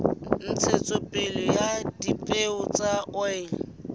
ntshetsopele ya dipeo tsa oli